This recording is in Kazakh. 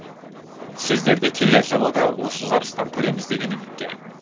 сіздерді келер жылы да осы жарыстан көреміз деген үміттемін